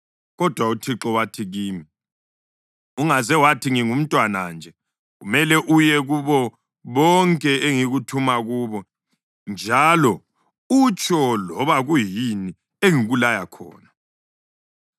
Kodwa uThixo wathi kimi, “Ungaze wathi, ‘Ngingumntwana nje.’ Kumele uye kubo bonke engikuthuma kubo njalo utsho loba kuyini engikulaya khona.